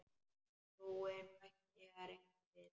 Trúin bæti hér engu við.